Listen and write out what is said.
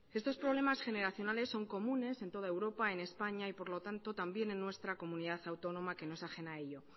estos problemas generacionales son comunes en todo europa en españa y por lo tanto también en nuestra comunidad autónoma que no es ajena a ello